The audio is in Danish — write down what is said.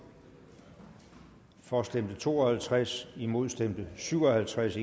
for stemte to og halvtreds imod stemte syv og halvtreds